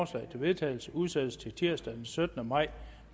til vedtagelse udsættes til tirsdag den syttende maj